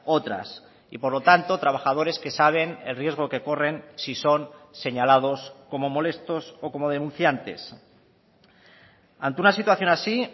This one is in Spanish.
otras y por lo tanto trabajadores que saben el riesgo que corren si son señalados como molestos o como denunciantes ante una situación así